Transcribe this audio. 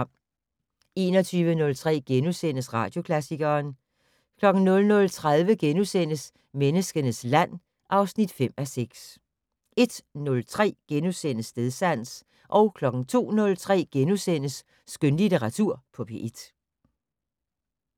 21:03: Radioklassikeren * 00:30: Menneskenes land (5:6)* 01:03: Stedsans * 02:03: Skønlitteratur på P1 *